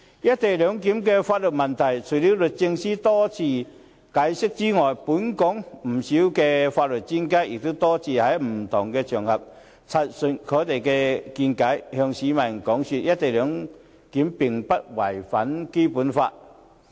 "一地兩檢"的法律問題，除了律政司司長多次解釋之外，本港不少法律專家也多次在不同場合陳述他們的見解，向市民解說"一地兩檢"並不違反《基本法》。